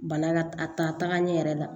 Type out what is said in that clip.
Bana ka taaga ɲɛ yɛrɛ la